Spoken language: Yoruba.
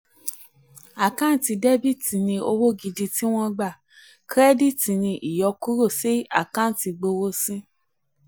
àkáǹtì dẹ́bíìtì ni owó gidi tí wọ́n gbà kírẹ́díìtì ni ìyọkúrò sí àkáǹtì ìgbowósí.